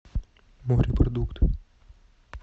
морепродукты